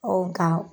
nka